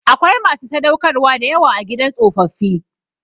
Akwai masu sadaukarwa da yawa a gidan tsofaffi.